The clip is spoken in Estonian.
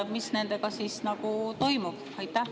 Mis nendega siis toimub?